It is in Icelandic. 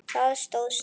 Það stóð stutt.